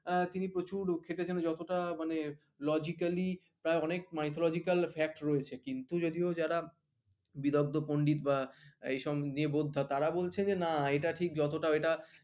আহ তিনি প্রচুর খেটেছেন যতটা মানে logically প্রায় অনেক mythologycal fact রয়েছে কিন্তু যদিও যারা বিরদ্ধ পন্ডিত বা এইসব নিরবর্ধা তারা বলছে যে না এটা ঠিক যতটা এটা